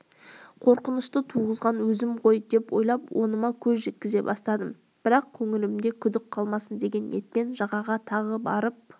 қорқынышты туғызған өзім ғой деп ойлап оныма көз жеткізе бастадым бірақ көңілімде күдік қалмасын деген ниетпен жағаға тағы барып